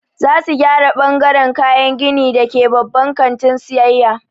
Za su gyara ɓangaran kayan gini da ke babban kantin sayayya.